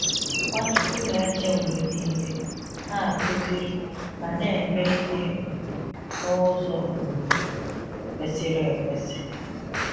Nwachukwu na-eche mgbe niile, na-akụziri, ma na-eme ihe um n'ụzọ um kwesịrị ekwesị.